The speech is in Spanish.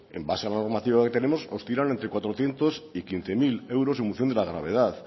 en base a la normativa que tenemos oscilan entre cuatrocientos y quince mil euros en función de la gravedad